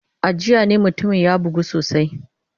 A jiya ne mutumin ya bugu sosai.